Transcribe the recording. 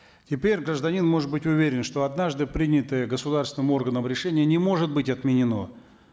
теперь гражданин может быть уверен что однажды принятое государственным органом решение не может быть отменено